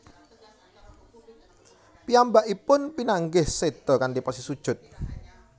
Piyambakipun pinanggih seda kanthi posisi sujud